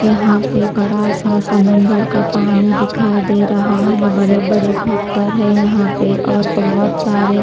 यहां पे बड़ा सा समुदर का पानी दिखाई दे रहा है बड़े बड़े पत्थर है यहां पे और बहोत सारे--